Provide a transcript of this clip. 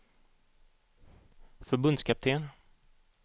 förbundskapten